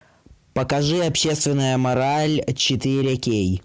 покажи общественная мораль четыре кей